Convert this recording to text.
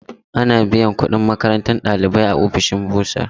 Ana biyan kudin makarantar ɗalibai a ofishin bursar.